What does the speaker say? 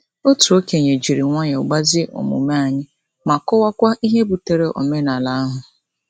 Otu okenye jiri nwayọọ gbazie omume anyị, ma kọwakwa ihe butere omenala ahụ.